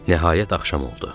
Nəhayət axşam oldu.